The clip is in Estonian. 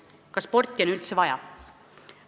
Kas sporti on üldse vaja?